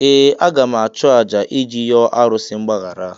Ee! Aga m achụ àjà iji yọọ arụsị mgbaghara.